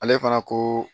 Ale fana ko